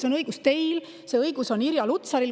See õigus on teil, see õigus on Irja Lutsaril.